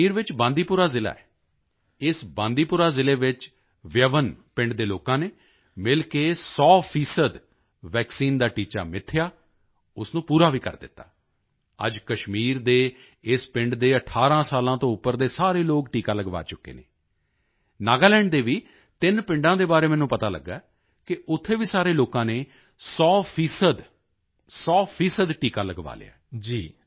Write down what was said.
ਕਸ਼ਮੀਰ ਵਿੱਚ ਬਾਂਦੀਪੁਰਾ ਜ਼ਿਲ੍ਹਾ ਹੈ ਇਸ ਬਾਂਦੀਪੁਰਾ ਜ਼ਿਲ੍ਹੇ ਵਿੱਚ ਵਿਯਵਨ ਵਿਆਨ ਪਿੰਡ ਦੇ ਲੋਕਾਂ ਨੇ ਮਿਲ ਕੇ 100 ਸੌ ਫੀਸਦੀ ਵੈਕਸੀਨ ਦਾ ਟੀਚਾ ਮਿਥਿਆ ਉਸ ਨੂੰ ਪੂਰਾ ਵੀ ਕਰ ਦਿੱਤਾ ਅੱਜ ਕਸ਼ਮੀਰ ਦੇ ਇਸ ਪਿੰਡ ਦੇ 18 ਸਾਲਾਂ ਤੋਂ ਉੱਪਰ ਦੇ ਸਾਰੇ ਲੋਕ ਟੀਕਾ ਲਗਵਾ ਚੁੱਕੇ ਹਨ ਨਾਗਾਲੈਂਡ ਦੇ ਵੀ ਤਿੰਨ ਪਿੰਡਾਂ ਦੇ ਬਾਰੇ ਮੈਨੂੰ ਪਤਾ ਲੱਗਿਆ ਕਿ ਉੱਥੇ ਵੀ ਸਾਰੇ ਲੋਕਾਂ ਨੇ 100 ਸੌ ਫੀਸਦੀ ਟੀਕਾ ਲਗਵਾ ਲਿਆ ਹੈ